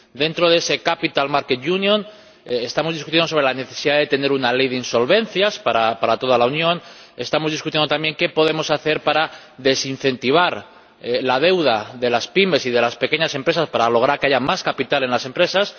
Dentro de esa Unión de los Mercados de Capitales, estamos debatiendo sobre la necesidad de tener una ley de insolvencias para toda la Unión y estamos debatiendo también qué podemos hacer para desincentivar la deuda de las pymes y de las pequeñas empresas para lograr que haya más capital en las empresas.